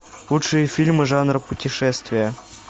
лучшие фильмы жанра путешествия